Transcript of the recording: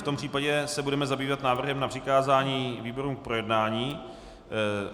V tom případě se budeme zabývat návrhem na přikázání výborům k projednání.